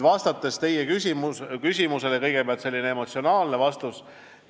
Vastates teie küsimusele, annan kõigepealt sellise emotsionaalse vastuse.